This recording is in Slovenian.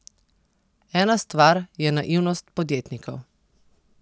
Ena stvar je naivnost podjetnikov.